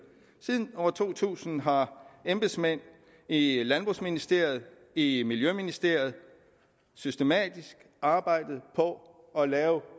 siden år to tusind har embedsmænd i landbrugsministeriet og i miljøministeriet systematisk arbejdet på at lave